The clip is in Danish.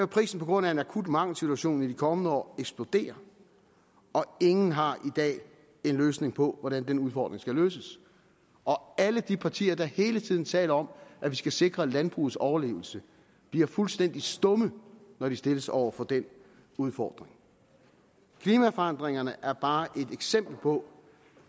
prisen på grund af en akut mangelsituation i de kommende år eksplodere og ingen har i dag en løsning på hvordan den udfordring skal løses alle de partier der hele tiden taler om at vi skal sikre landbrugets overlevelse bliver fuldstændig stumme når de stilles over for den udfordring klimaforandringerne er bare et eksempel på